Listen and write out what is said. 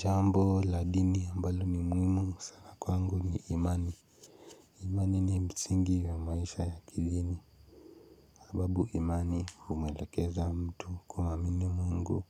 Jambo la dini ambalo ni muhimu sana kwangu ni imani. Imani ni msingi wa maisha ya kidini. Sababu imani humuelekeza mtu kuamini Mungu